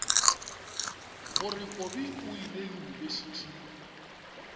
gore kobi o ile yunibesithing